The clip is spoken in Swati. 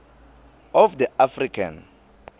of the african